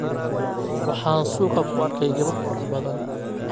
Waxaan suuqa ku arkay gabar qurux badan.